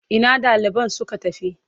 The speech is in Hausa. Ina ɗaliban suka tafi?